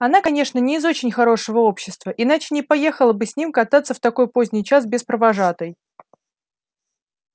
она конечно не из очень хорошего общества иначе не поехала бы с ним кататься в такой поздний час без провожатой